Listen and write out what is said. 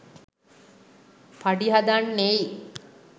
පඩි හදන්නෙයි